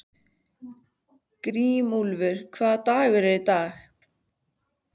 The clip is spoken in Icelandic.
Grímúlfur, hvaða dagur er í dag?